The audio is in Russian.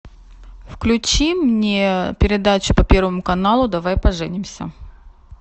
включи мне передачу по первому каналу давай поженимся